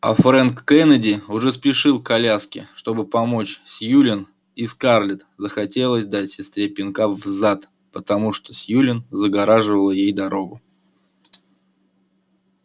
а фрэнк кеннеди уже спешил к коляске чтобы помочь сьюлин и скарлетт захотелось дать сестре пинка в зад потому что сьюлин загораживала ей дорогу